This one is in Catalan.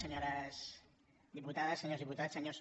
senyores diputades senyors diputats senyors